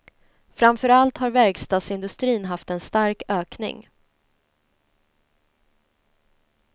Framför allt har verkstadsindustrin haft en stark ökning.